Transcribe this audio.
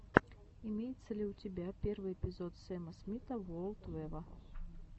имеется ли у тебя первый эпизод сэма смита ворлд вево